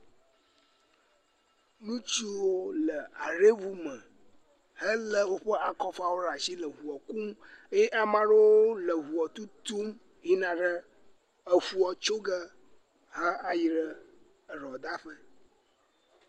Ŋutsuwo le haɖeʋu me eye wole woƒe akɔfawo ɖe asi le eʋua kum eye ame aɖewo wole eʋua tutum yina ɖe eƒua tso ge ha eyi ɖe eɖɔ ɖa ƒe.